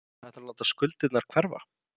Ætlarðu að láta skuldirnar hverfa?